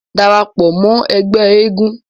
darapọ̀ mọ́ ẹgbẹ́ eégún